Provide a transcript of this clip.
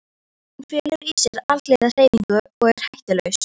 Hún felur í sér alhliða hreyfingu og er hættulaus.